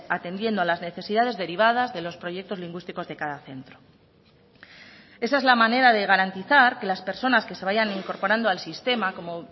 atendiendo a las necesidades derivadas de los proyectos lingüísticos de cada centro esa es la manera de garantizar que las personas que se vayan incorporando al sistema como